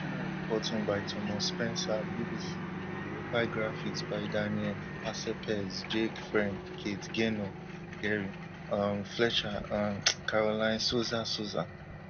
ternal reporting by thomas spencer BBC verify graphics by daniel arcelpez jake friend kate gaynor gerry um fletcher um um caroline souza souza